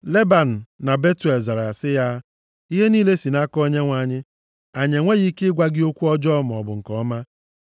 Leban na Betuel zara sị ya, “Ihe niile si nʼaka Onyenwe anyị. Anyị enweghị ike ịgwa gị okwu ọjọọ maọbụ nke ọma.